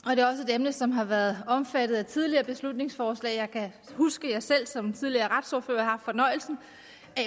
emne som har været omfattet af tidligere beslutningsforslag jeg kan huske at jeg selv som tidligere retsordfører har haft fornøjelsen